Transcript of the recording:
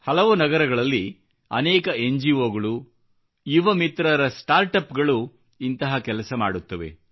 ಹಲವು ನಗರಗಳಲ್ಲಿ ಅನೇಕ ಎನ್ ಜಿ ಓಗಳು ಯುವ ಮಿತ್ರರ ಸ್ಟಾರ್ಟ್ ಅಪ್ ಗಳು ಇಂತಹ ಕೆಲಸ ಮಾಡುತ್ತವೆ